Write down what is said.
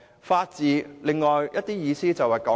法治有另一層意思，就是公義。